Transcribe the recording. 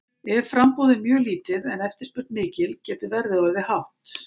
Ef framboð er mjög lítið en eftirspurn mikil getur verðið orðið hátt.